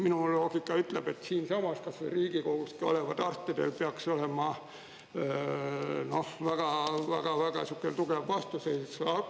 Minu loogika ütleb, et siinsamas, kas või Riigikogus olevatel arstidel peaks olema väga-väga-väga siuke tugev vastuseis.